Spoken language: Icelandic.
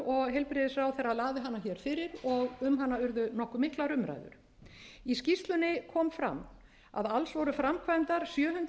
heilbrigðisráðherra lagði hana hér fyrir og um hana urðu nokkuð miklar umræður í skýrslunni kom fram að alls voru framkvæmdar sjö hundruð tuttugu og sex